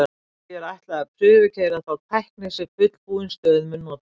Því er ætlað að prufukeyra þá tækni sem fullbúin stöð mun nota.